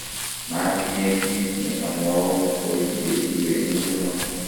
matinye kiit ne amwaun koi ye iwe nguno